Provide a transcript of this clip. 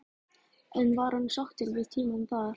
En var hann sáttur við tímann þar?